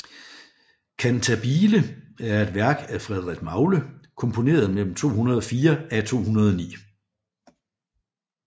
Cantabile er et værk af Frederik Magle komponeret mellem 2004 af 2009